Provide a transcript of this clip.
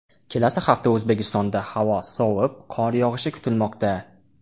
Kelasi hafta O‘zbekistonda havo sovib, qor yog‘ishi kutilmoqda.